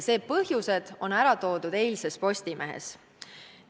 Need põhjused on ära toodud eilses Postimehes.